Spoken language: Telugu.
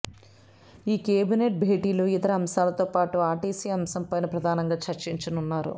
ఈ కేబినెట్ భేటీలో ఇతర అంశాలతో పాటు ఆర్టీసీ అంశంపైనే ప్రధానంగా చర్చించనున్నారు